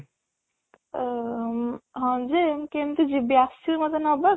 ଅ ହଁ ଯେ ମୁଁ କେମିତି ଯିବି ଆସିବୁ ମୋତେ ନବାକୁ